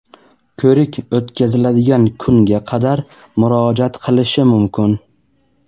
ko‘rik o‘tkaziladigan kunga qadar murojaat qilishi mumkin.